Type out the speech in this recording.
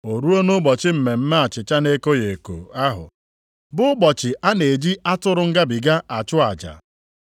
O ruo nʼụbọchị Mmemme Achịcha na-ekoghị eko ahụ bụ ụbọchị a na-eji atụrụ Ngabiga achụ aja.